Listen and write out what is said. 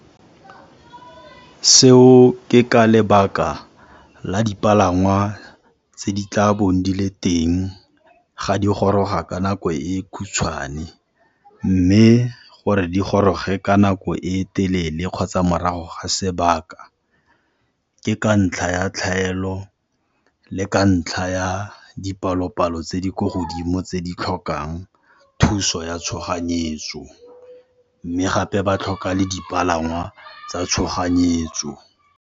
Seo ke ka lebaka la dipalangwa tse di tla bong di le teng ga di goroga ka nako e khutshwane, mme gore di goroge ka nako e telele kgotsa morago ga sebaka ke ka ntlha ya tlhaelo le ka ntlha ya dipalo-palo tse di ko godimo tse di tlhokang thuso ya tshoganyetso mme gape ba tlhoka le dipalangwa tsa tshoganyetso.